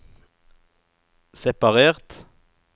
separert